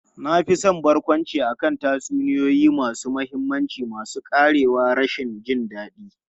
Na fi son barkwanci akan tatsuniyoyi masu mahimmanci masu ƙarewar rashin jin daɗi.